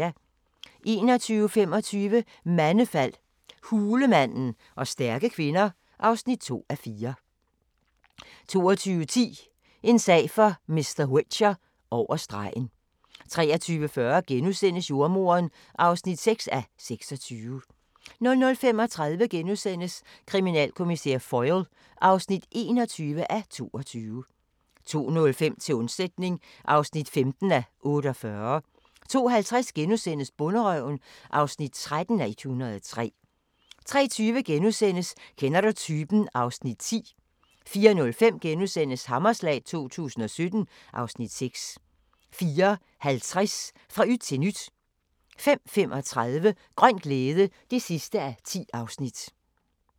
21:25: Mandefald – hulemanden og stærke kvinder (2:4) 22:10: En sag for mr. Whicher: Over stregen 23:40: Jordemoderen (6:26)* 00:35: Kriminalkommissær Foyle (21:22)* 02:05: Til undsætning (15:48) 02:50: Bonderøven (13:103)* 03:20: Kender du typen? (Afs. 10)* 04:05: Hammerslag 2017 (Afs. 6)* 04:50: Fra yt til nyt 05:35: Grøn glæde (10:10)